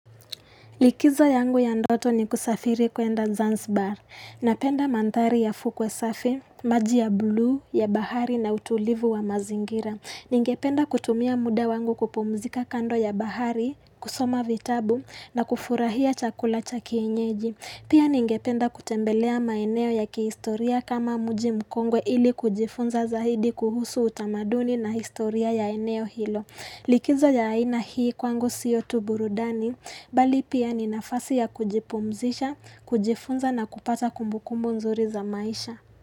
Likizo yangu ya ndoto ni kusafiri kwenda Zanzbar. Napenda mantari ya fukwe safi, maji ya blue, ya bahari na utulivu wa mazingira. Ningependa kutumia muda wangu kupumzika kando ya bahari, kusoma vitabu na kufurahia chakula cha kienyeji. Pia ningependa kutembelea maeneo ya kihistoria kama mji mkongwe ili kujifunza zaidi kuhusu utamaduni na historia ya eneo hilo. Likizo ya haina hii kwangu siyo tu burudani, bali pia ni nafasi ya kujipumzisha, kujifunza na kupata kumbukumbu nzuri za maisha.